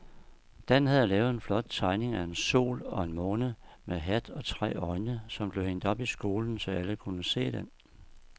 Dan havde lavet en flot tegning af en sol og en måne med hat og tre øjne, som blev hængt op i skolen, så alle kunne se den.